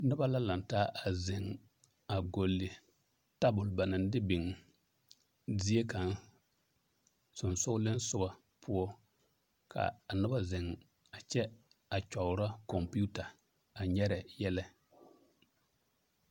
Noba la laŋ taa a zeŋ gɔlle tabol ba naŋ de biŋ zie kaŋ soŋsogleŋ soga poɔ ka a noba zeŋ a kyɛ a kyɔgrɔ kɔmpeeta a nyɛrɛ yɛlɛ .